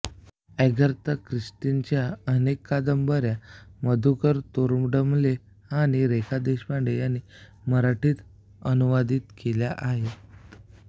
Agatha ख्रिस्तीच्या अनेक कादंबऱ्या मधुकर तोरडमल आणि रेखा देशपांडे यांनी मराठीत अनुवादित केल्या आहेत